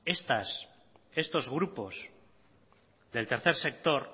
estos grupos del tercer sector